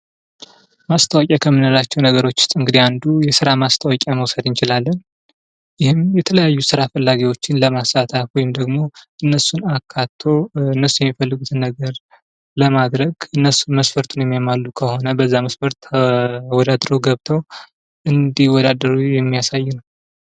ማስታወቂያ ከምንላቸው ነገሮች ውስጥ እንግዲህ አንዱ የስራ ማስታወቂያን መውሰድ እንችላለን። ይህም የተለያዩ ስራ ፈላጊዎችኝ ለማሳተፍ ወይም ደግሞ እነሱን አካቶ እንሱ ሚፈልጉትን ነገር ለማድረግ እነሱ መስፈርቱን የሚያሟሉ ከሆኑ በዛ መስፈርት ተወዳድረው ገብተው እንዲወዳደሩ የሚያሳይ ነው ።